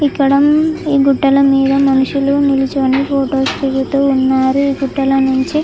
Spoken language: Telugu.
ఇక్కడ అం ఈ గుట్టల మీద మనుషులు నిల్లచోని ఫొటో స్ దిగుతూ ఉన్నారు ఈ గుట్టల నుంచి.